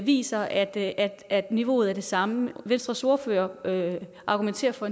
viser at at niveauet er det samme venstres ordfører argumenterer for